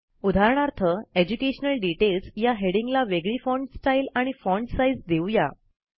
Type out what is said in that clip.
उदाहरणार्थ educational details या हेडिंगला वेगळी फाँट स्टाईल आणि फाँट साईज देऊ या